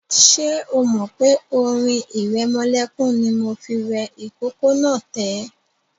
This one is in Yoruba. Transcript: Ṣé o mọ̀ pé orin ìrẹmọlẹ́kún ni mo fi rẹ ìkókó náà tẹ́?